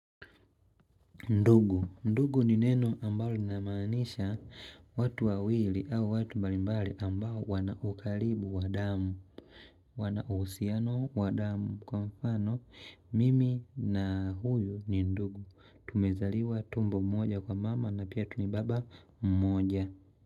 Ndugu. Ndugu ni neno ambalo linamaanisha watu wawili au watu mbalimbali ambao wana ukaribu wa damu. Wana uhusiano wa damu. Kwa mfano mimi na huyu ni ndugu tumezaliwa tumbo moja kwa mama na pia tu ni baba mmoja.